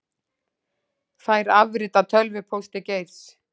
Fær afrit af tölvupósti Geirs